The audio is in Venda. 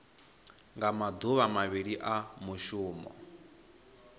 nga maduvha mavhili a mushumo